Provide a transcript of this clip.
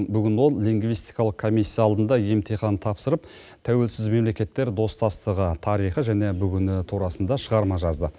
бүгін ол лингвистикалық комиссия алдында емтихан тапсырып тәуелсіз мемлекеттер достастығы тарихы және бүгіні турасында шығарма жазды